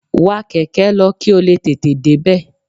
Wa kẹ̀kẹ́ lọ kí o lè tètè débẹ̀